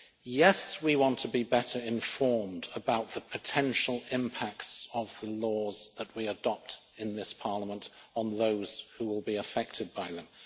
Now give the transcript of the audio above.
Yes, we want to be better informed about the potential impacts of laws that we adopt in this Parliament on those who will be affected by them.